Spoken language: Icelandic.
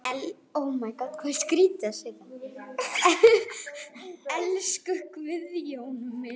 Elsku Guðjón minn.